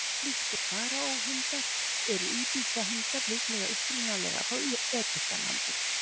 Líkt og faraó-hundar eru íbisa-hundar líklega upprunalega frá Egyptalandi.